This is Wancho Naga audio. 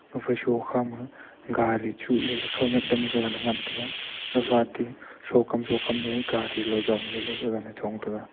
gaphai sokhama gari chuh lele khaoniak dam gaga ne ngan tega gaphatey sokam sokam ley gari loi jongley gaga ley chong tega.